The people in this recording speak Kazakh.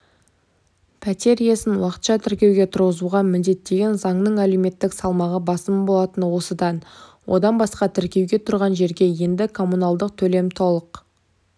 пәтер иесін уақытша тіркеуге тұрғызуға міндеттеген заңның әлеуметтік салмағы басым болатыны осыдан одан басқа тіркеуге тұрған жерге енді коммуналдық төлем толық